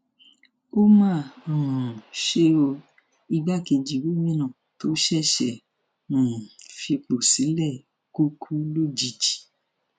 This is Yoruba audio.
ó mà um ṣe o igbákejì gómìnà tó ṣẹṣẹ um fipò sílẹ kù kù lójijì